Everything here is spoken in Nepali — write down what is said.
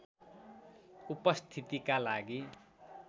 उपस्थितिका लागि